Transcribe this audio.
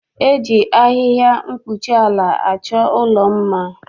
E ji ahịhịa mkpuchiala achọ ụlọ mma.